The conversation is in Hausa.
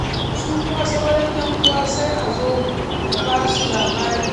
Su kuma sauran 'yan'uwa sai a zo a ba su labari.